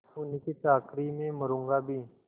उन्हीं की चाकरी में मरुँगा भी